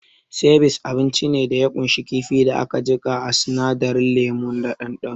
Sivice abinci ne da ya kunshi kifin da aka jika a sinadarin lemu da ɗanɗano